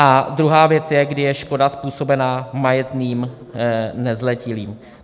A druhá věc je, kdy je škoda způsobena majetným nezletilým.